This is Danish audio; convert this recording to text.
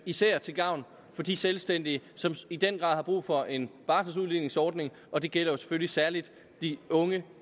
især til gavn for de selvstændige som i den grad har brug for en barseludligningsordning og det gælder selvfølgelig særlig de unge